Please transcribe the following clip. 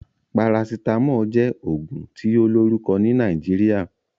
Parasitamoli jẹ́ ògùn tí ó lórùkọ ni Nàìjíríà